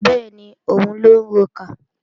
Bẹ́ẹ̀ni, òun lọ ń rokà